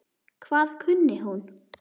Hvað kunni hún?